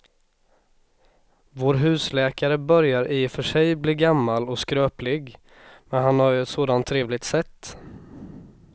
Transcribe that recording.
Vår husläkare börjar i och för sig bli gammal och skröplig, men han har ju ett sådant trevligt sätt!